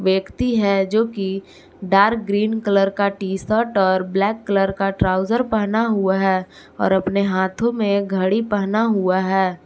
व्यक्ति है जो की डार्क ग्रीन कलर का टी शर्ट और ब्लैक कलर का ट्राउजर पहना हुआ है और अपने हाथों में घड़ी पहना हुआ है।